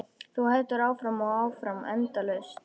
Þú heldur áfram og áfram, endalaust.